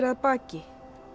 að baki